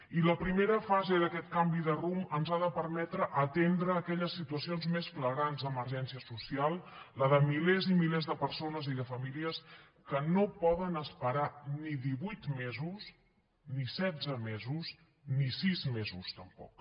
i la primera fase d’aquest canvi de rumb ens ha de permetre atendre aquelles situacions més flagrants d’emergència social la de milers i milers de persones i de famílies que no poden esperar ni divuit mesos ni setze mesos ni sis mesos tampoc